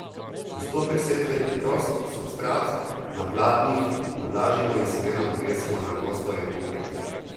Postopek setve je preprost, substrat na pladnjih navlažimo in semena potresemo na gosto in povprek.